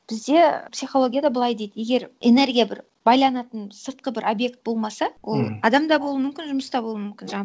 бізде психологияда былай дейді егер энергия бір байланатын сыртқы бір объект болмаса ол мхм адам да болу мүмкін жұмыс та бол мүмкін жаңа